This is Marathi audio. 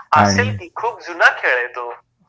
असेल की, खूप जुना खेळ आहे तो